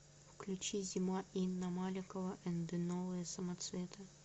включи зима инна маликова энд новые самоцветы